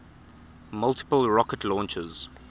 multiple rocket launchers